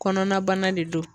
Kɔnɔna bana de don